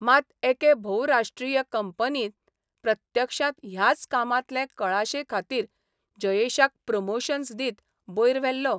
मात एके भोवराष्ट्रीय कंपनीन प्रत्यक्षांत ह्याच कामांतले कळाशेखातीर जयेशाक प्रमोशन्स दीत बयर व्हेल्लो.